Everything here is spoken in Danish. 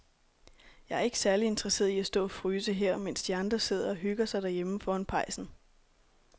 Jeg er ikke særlig interesseret i at stå og fryse her, mens de andre sidder og hygger sig derhjemme foran pejsen.